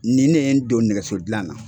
Nin ne ye n don nɛgɛsodilan na.